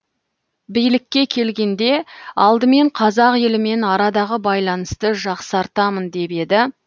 билікке келгенде алдымен қазақ елімен арадағы байланысты жақсартамын деп еді